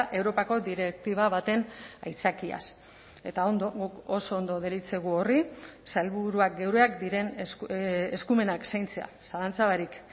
europako direktiba baten aitzakiaz eta ondo guk oso ondo deritzogu horri sailburuak geureak diren eskumenak zaintzea zalantza barik